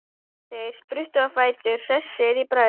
Þeir spruttu á fætur, hressir í bragði.